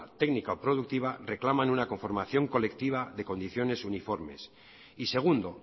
técnica o productiva reclaman una conformación colectiva de condiciones uniformes y segundo